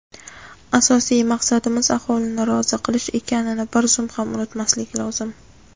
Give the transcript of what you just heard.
Asosiy maqsadimiz – aholini rozi qilish ekanini bir zum ham unutmaslik lozim.